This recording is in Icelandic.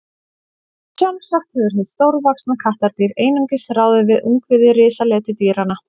sjálfsagt hefur hið stórvaxna kattardýr einungis ráðið við ungviði risaletidýranna